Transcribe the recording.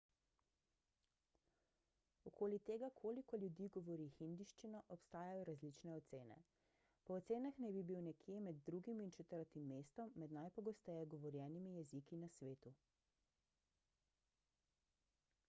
okoli tega koliko ljudi govori hindijščino obstajajo različne ocene po ocenah naj bi bil nekje med drugim in četrtim mestom med najpogosteje govorjenimi jeziki na svetu